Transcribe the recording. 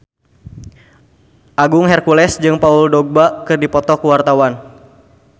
Agung Hercules jeung Paul Dogba keur dipoto ku wartawan